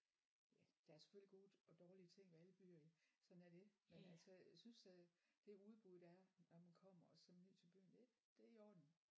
Ja der er selvfølgelig gode og dårlige ting ved alle byer jo sådan er det men altså jeg synes øh det udbud der er når man kommer og sådan ned til byen det det i orden